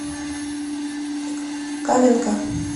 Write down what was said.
каменка